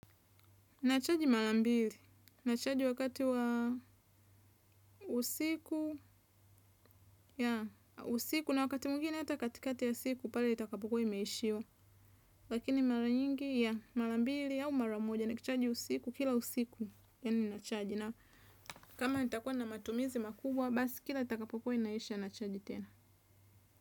Nachaji mara mbili nachaji wakati wa usiku na wakti mwingine ata katikati ya siku pale itakapo kua imeishiwa. Lakini mara nyingi, yaa, marambili au mara moja, nikichaji usiku, kila usiku yani nachaji. Kama nitakua na matumizi makubwa basi kila itakapo kua inaisha nacharge tena.